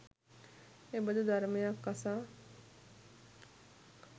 එබඳු ධර්මයක් අසා